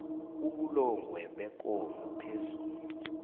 ubulongwe bekomo phezu